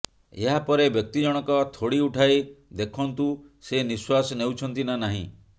ଏହାପରେ ବ୍ୟକ୍ତି ଜଣଙ୍କ ଥୋଡି ଉଠାଇ ଦେଖନ୍ତୁ ସେ ନିଃଶ୍ୱାସ ନେଉଛନ୍ତି ନା ନାହିଁ